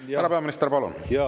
Härra peaminister, palun!